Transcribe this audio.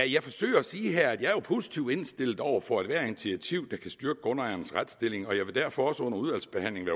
jeg forsøger at sige her at jeg jo er positivt indstillet over for ethvert initiativ der kan styrke grundejernes retsstilling og jeg vil derfor også under udvalgsbehandlingen